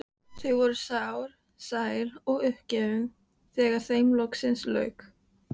Þau voru sár, sæl og uppgefin þegar þeim loksins lauk.